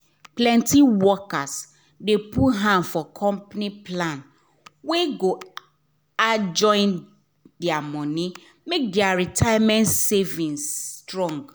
plenty workers dey put hand for company plan wey go add join their money make their retirement savings strong.